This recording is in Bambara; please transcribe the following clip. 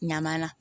Ɲama na